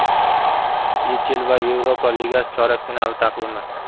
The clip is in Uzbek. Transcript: YeChL va Yevropa Ligasi chorak finali taqvimi.